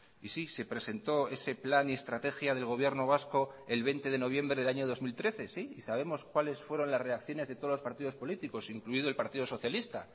y sí se presentó ese plan y estrategia del gobierno vasco el veinte de noviembre del año dos mil trece sí y sabemos cuáles fueron las reacciones de todos los partidos políticos incluido el partido socialista